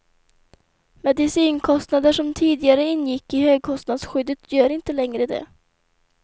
Medicinkostnader som tidigare ingick i högkostnadsskyddet gör inte längre det.